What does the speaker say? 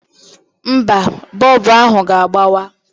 Mba, bọọbụ ahụ ga-agbawa.